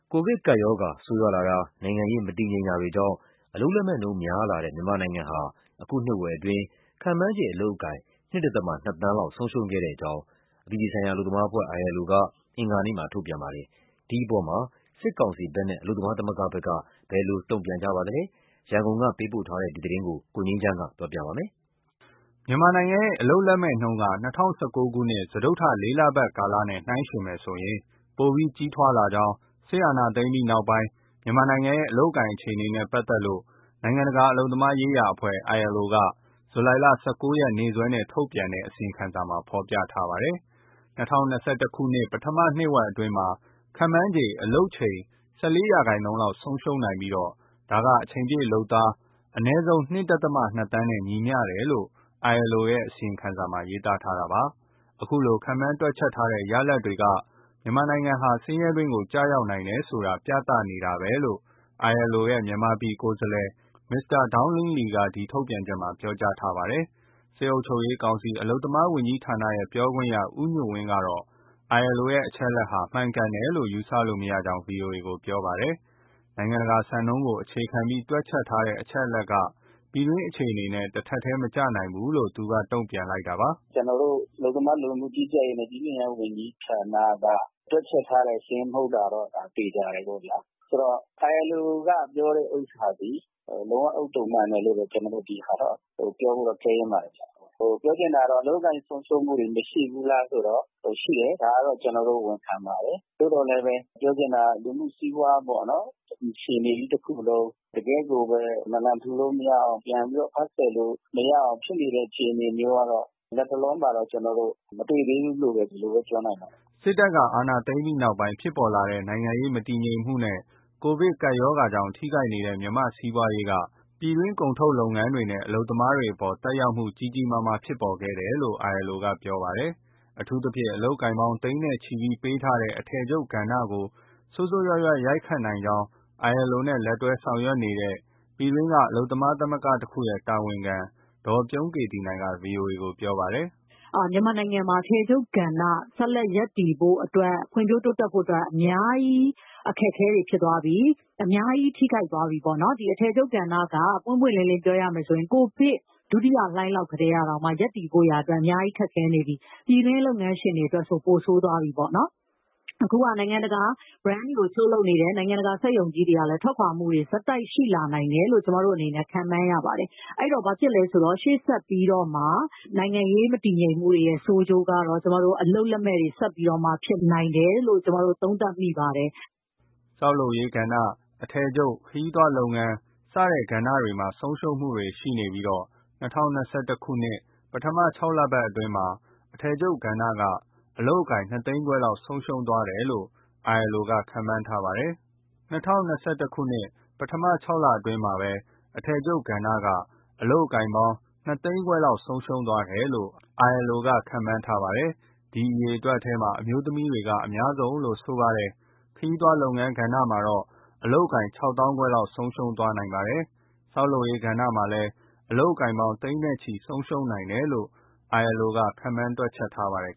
ကိုဗစ်ကပ်ရောဂါ ဆိုးရွားလာမှု၊ နိုင်ငံရေး မတည်ငြိမ်မှုတွေကြောင့် အလုပ်လက်မဲ့နှုန်းများလာတဲ့ မြန်မာနိုင်ငံဟာ အခုနှစ်ဝက်အတွင်းမှာ ခန့်မှန်းခြေအလုပ်အကိုင် ၂.၂ သန်းလောက် ဆုံးရှုံးခဲ့ကြောင်း အပြည်ပြည်ဆိုင်ရာအလုပ်သမားအဖွဲ့ (ILO) က အင်္ဂါနေ့မှာ ထုတ်ပြန်ပါတယ်။ ဒီအပေါ် စစ်ကောင်စီဘက်နဲ့ အလုပ်သမားသမဂ္ဂဘက်က ဘယ်လိုတုံ့ပြန်ပါသလဲ၊ ရန်ကုန်ကပေးပို့ထားတဲ့သတင်းကို ကိုငြိမ်းချမ်းက ပြောပြထားပါတယ်။ မြန်မာနိုင်ငံရဲ့ အလုပ်လက်မဲ့နှုန်းက ၂၀၁၉ ခုနှစ် စတုတ္ထလေးလပတ်ကာလနဲ့နှိုင်းယှဉ်မယ်ဆိုရင် ပိုပြီးကြီးထွားလာကြောင်း စစ်အာဏာသိမ်းပြီးနောက်ပိုင်း မြန်မာနိုင်ငံရဲ့ အလုပ်အကိုင်အခြေအနေနဲ့ ပတ်သက်လို့ ILO က ဇူလိုင်လ ၁၉ ရက်နေ့ ရက်စွဲနဲ့ ထုတ်ပြန်တဲ့ အစီရင်ခံစာမှာ ဖော်ပြထားပါတယ်။ ၂၀၂၁ ပထမနှစ်ဝက်အတွင်းမှာ ခန့်မှန်းခြေ အလုပ်ချိန် ၁၄% လောက်ဆုံးရှုံးခဲ့နိုင်ပြီး ဒါက အချိန်ပြည့်လုပ်သား အနည်းဆုံး ၂.၂ သန်းနဲ့ ညီမျှတယ်လို့ ILO ရဲ့ အစီရင်ခံစာမှာ ရေးသားထားတာပါ။ အခုလို ခန့်မှန်းတွက်ချက်ထားတဲ့ ရလာဒ်တွေက မြန်မာနိုင်ငံဟာ ဆင်းရဲတွင်းကို ကျရောက်နိုင်တယ်ဆိုတာ ပြသနေတာပဲလို့ ILO ရဲ့ မြန်မာပြည်ကိုယ်စားလှယ် Mr. Donglin Li က ထုတ်ပြန်ချက်မှာ ပြောကြားထားပါတယ်။ စစ်အုပ်ချုပ်ရေးကောင်စီ၊ အလုပ်သမားဝန်ကြီးဌာနရဲ့ ပြောခွင့်ရ ဦးညွန့်ဝင်းကတော့ ILO ရဲ့ အချက်အလက်ဟာ မှန်ကန်တယ်လို့ ယူဆလို့မရကြောင်း ဗွီအိုအေကို ပြောပါတယ်။ နိုင်ငံတကာစံနှုန်းကို အခြေခံပြီး တွက်ချက်ထားတဲ့ အချက်အလက်က ပြည်တွင်းအခြေအနေနဲ့ တထပ်တည်းမကျနိုင်ဘူးလို့ သူကတုံ့ပြန် လိုက်တာပါ။ “ ကျနော်တို့ အလုပ်သမား၊ လူဝင်မှုကြီးကြပ်ရေးနှင့် ပြည်သူ့အင်အားဝန်ကြီးဌာနက တွက်ချက်ထားတဲ့ စာရင်း မဟုတ်တာတော့ သေချာတယ်ပေါ့ဗျာ။ ဆိုတော့ ILO ကပြောတဲ့ဥစ္စာသည် လုံးဝဥဿုံမှန်တယ်လို့ ဒီဟာက ပြောဖို့တော့ခဲယဉ်းပါတယ်။ ပြောချင်တာက အလုပ်အကိုင်ဆုံးရှုံးမှုတွေ မရှိဘူးလားဆိုတော့၊ ရှိတယ်။ ဒါတော့ ကျနော်တို့ ဝန်ခံပါတယ်။ သို့သော်လည်းပဲ ပြောချင်တာက လူမှုစီးပွားပေါ့နော်၊ ဒီအခြေအနေကြီး တခုလုံး တကယ့်ကိုပဲ နာလန်ထူလို့မရအောင် ပြန်ပြီး အဖတ်ဆယ်လို့မရအောင် ဖြစ်နေတဲ့ အခြေအနေမျိုးကတော့ လတ်တလောမှာတော့ ကျနော်တို့ မတွေ့သေးဘူးလို့ဘဲ ဒီလိုပဲ ပြောနိုင်ပါတယ်။” စစ်တပ်က အာဏာသိမ်းပြီးတဲ့နောက် ဖြစ်လာတဲ့ နိုင်ငံရေးမတည်ငြိမ်မှုနဲ့ ကိုဗစ်ကပ်ရောဂါကြောင့် ထိခိုက်နေတဲ့ မြန်မာ့စီးပွားရေးက ပြည်တွင်း ကုန်ထုတ်လုပ်ငန်းတွေနဲ့ အလုပ်သမားတွေအပေါ်မှာ သက်ရောက်မှု ကြီးကြီးမားမား ဖြစ်ပေါ်ခဲ့တယ်လို့ ILO ကပြောပါတယ်။ အထူးသဖြင့် အလုပ်အကိုင်ပေါင်း သိန်းနဲ့ချီပေးထားတဲ့ အထည်ချုပ်ကဏ္ဍကို ဆိုးဆိုးရွားရွား ရိုက်ခတ်နိုင်ကြောင်း ILO နဲ့လက်တွဲဆောင်ရွက်နေတဲ့ ပြည်တွင်းက အလုပ်သမားသမဂ္ဂတခုရဲ့ တာဝန်ခံ ဒေါ်ပြုံးကေသီနိုင်က ဗွီအိုအေကို ပြောပါတယ်။ “မြန်မာနိုင်ငံမှာ အထည်ချုပ်ကဏ္ဍ ဆက်လက်ရပ်တည်ဖို့အတွက်၊ ဖွံ့ဖြိုးတိုးတက်ဖို့အတွက်၊ အများကြီး အခက်အခဲတွေ ဖြစ်သွားပြီ။ အများကြီး ထိခိုက်သွားပြီပေါ့နော်။ အထည်ချုပ်ကဏ္ဍက ပွင့်ပွင့်လင်းလင်း ပြောရမယ်ဆိုရင် ကိုဗစ် ဒုတိယလှိုင်းလောက်ကတည်းက ရပ်တည်ဖို့ရာ အများကြီးခက်ခဲနေပြီ။ ပြည်တွင်းလုပ်ငန်းရှင်တွေအတွက်ဆို ပိုဆိုးသွားပြီပေါ့နော်။ အခုက နိုင်ငံတကာ Brand တွေကို ချုပ်လုပ်နေတဲ့ နိုင်ငံတကာ စက်ရုံကြီးတွေကလည်း ထွက်ခွာမှုတွေ ဆက်တိုက်ရှိလာနိုင်တယ်လို့ ကျမတို့အနေနဲ့ ခန့်မှန်းရပါတယ်။ အဲဒီတော့ ဘာဖြစ်လဲဆိုတော့ ရှေ့ဆက်ပြီးတော့မှ နိုင်ငံရေးမတည်ငြိမ်မှုတွေရဲ့ ဆိုးကျိုးကတော့ အလုပ်လက်မဲ့တွေ ဆက်ပြီးတော့ ဖြစ်နိုင်တယ်လို့ သုံးသပ်မိပါတယ်။” ဆောက်လုပ်ရေး၊ အထည်ချုပ်၊ ခရီးသွားလုပ်ငန်း စတဲ့ကဏ္ဍတွေမှာ ဆုံးရှုံးမှုတွေရှိပြီး ၂၀၂၁ ပထမ ၆ လအတွင်းမှာ အထည်ချုပ်ကဏ္ဍက အလုပ်အကိုင် ၂၅၀,၀၀၀ လောက် ဆုံးရှုံးသွားတယ်လို့ ILO က ခန့်မှန်းထားပါတယ်။ ဒီအရေအတွက်ထဲမှာ အမျိုးသမီးတွေက အများဆုံးလို့ ဆိုပါတယ်။ ခရီးသွားလုပ်ငန်းမှာတော့ အလုပ်အကိုင် ၆၅,၀၀၀ လောက်ဆုံးရှုံးခဲ့နိုင်ပါတယ်။ ဆောက်လုပ်ရေးကဏ္ဍမှာလည်း အလုပ်အကိုင်ပေါင်း သိန်းနဲ့ချီဆုံးရှုံးခဲ့နိုင်တယ်လို့ ILO ကခန့်မှန်း တွက်ချက်ထားပါတယ်